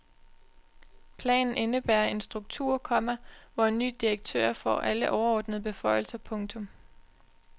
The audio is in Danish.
Planen indebærer en struktur, komma hvor en ny direktør får alle overordnede beføjelser. punktum